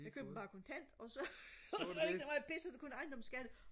jeg købte den bare kontant og så og så er der ikke så meget pis så er det bare ejendomsskat